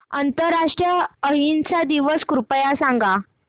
आंतरराष्ट्रीय अहिंसा दिवस कृपया सांगा